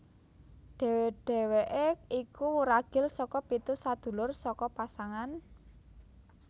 Deheweke iku wuragil saka pitu sadulur saka pasangan